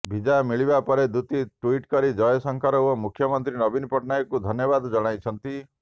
ଭିଜା ମିଳିବା ପରେ ଦୂତୀ ଟୁଇଟି କରି ଜୟଶଙ୍କର ଓ ମୁଖ୍ୟମନ୍ତ୍ରୀ ନବୀନ ପଟ୍ଟନାୟକଙ୍କୁ ଧନ୍ୟବାଦ ଜଣାଇଛନ୍ତି